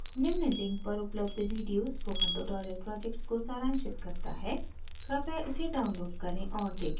निम्न लिंक पर उपलब्ध वीडियो स्पोकन ट्यूटोरियल प्रोजेक्ट को साांशित करता है कृपया इसे डाउनलोड करें और देखें